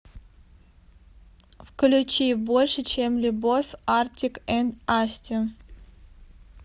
включи больше чем любовь артик энд асти